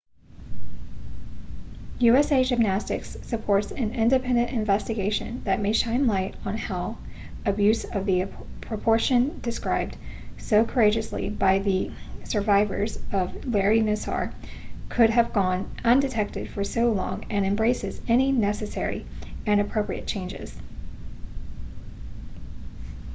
usa gymnastics supports an independent investigation that may shine light on how abuse of the proportion described so courageously by the survivors of larry nassar could have gone undetected for so long and embraces any necessary and appropriate changes